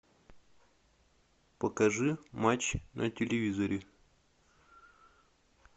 покажи матч на телевизоре